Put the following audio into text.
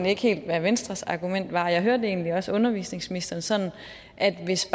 ikke helt hvad venstres argument var jeg hørte egentlig også undervisningsministeren sådan at hvis